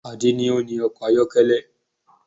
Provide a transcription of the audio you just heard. Ade ni o ni ọkọ̀ ayọ́kẹ́lẹ́